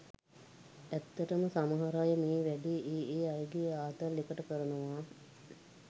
ඇත්තටම සමහර අය මේ වැඬේ ඒ ඒ අයගෙ ආතල් එකට කරනවා.